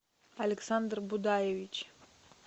александр будаевич